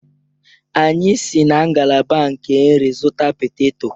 Anyị si na ngalaba nke nri zụta peteto.